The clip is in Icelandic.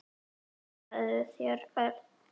Og hugsaðu þér, Örn.